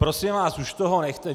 Prosím vás, už toho nechte.